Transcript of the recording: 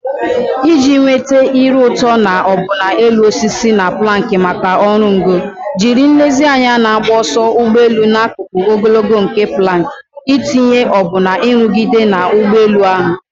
Iji nweta a ire ụtọ na ọbụna elu na osisi planks maka oru ngo, jiri nlezianya na-agba ọsọ ụgbọ elu n'akụkụ ogologo nke planks, n'itinye ọbụna nrụgide na ụgbọelu ahụ.